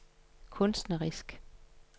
kunstnerisk